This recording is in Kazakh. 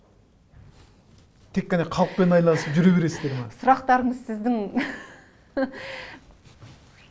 тек қана халықпен айналысып жүре бересіздер ме сұрақтарыңыз сіздің